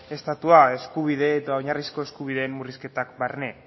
estatua eskubide eta oinarrizko eskubideen murrizketak barne